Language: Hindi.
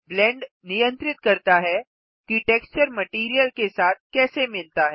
ब्लेंड नियंत्रित करता है कि टेक्सचर मटैरियल के साथ कैसे मिलता है